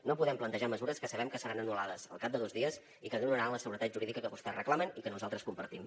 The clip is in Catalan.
no podem plantejar mesures que sabem que seran anul·lades al cap de dos dies i que no donaran la seguretat jurídica que vostès reclamen i que nosaltres compartim